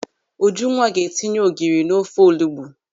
Ujunwa ga-etinye ogiri n'ofe olugbu.